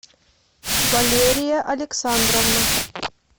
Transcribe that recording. валерия александровна